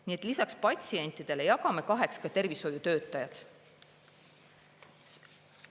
Nii et lisaks patsientidele jagame kaheks ka tervishoiutöötajad.